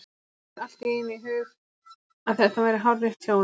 Honum flaug allt í einu í hug að þetta væri hárrétt hjá henni.